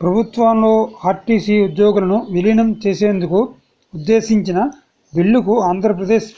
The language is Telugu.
ప్రభుత్వంలో ఆర్టీసీ ఉద్యోగులను విలీనం చేసేందుకు ఉద్దేశించిన బిల్లుకు ఆంధ్రప్రదేశ్